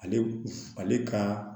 Ale ale ka